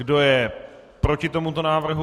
Kdo je proti tomuto návrhu?